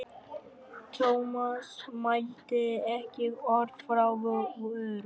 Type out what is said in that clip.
Thomas mælti ekki orð frá vörum.